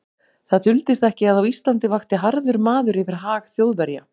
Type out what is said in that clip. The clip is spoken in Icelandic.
Það duldist ekki, að á Íslandi vakti harður maður yfir hag Þjóðverja.